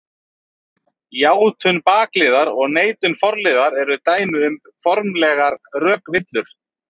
Játun bakliðar og neitun forliðar eru dæmi um formlegar rökvillur.